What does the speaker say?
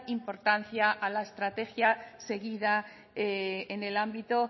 importancia a la estrategia seguida en el ámbito